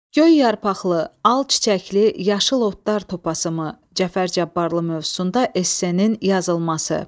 Göy yarpaqlı, al çiçəkli yaşıl otlar topasımı Cəfər Cabbarlı mövzusunda essenin yazılması.